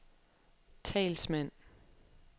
talsmand